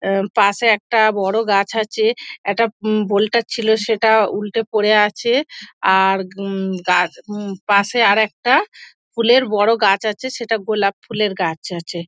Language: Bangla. আহ পাশে একটা বড় গাছ আছে একটা বোল্টর ছিল সেটা উল্টে পরে আছে আর উম আর পাশে আর একটা ফুলের বড় গাছ আছে সেটা গোলাপ ফুলের গাছ আছে।